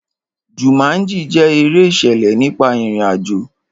Jumanji jẹ́ eré ìṣẹ̀lẹ̀ nípa ìrìn àjò.